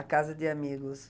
Na casa de amigos.